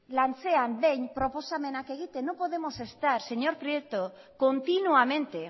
behin proposamenak egiten no podemos estar señor prieto continuamente